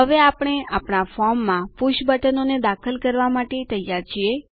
હવે આપણે આપણા ફોર્મમાં પુષ બટનોને દાખલ કરવા માટે તૈયાર છીએ